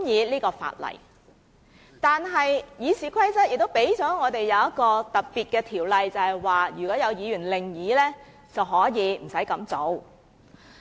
不過，《議事規則》載有一項特別的條文，便是如果有議員有異議，便無須這樣做。